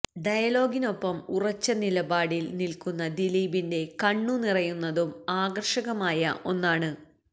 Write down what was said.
ഡയലോഗിനൊപ്പം ഉറച്ച നിലപാടില് നില്ക്കുന്ന ദിലീപിന്റെ കണ്ണു നിറയുന്നതും ആകര്ഷകമായ ഒന്നാണ്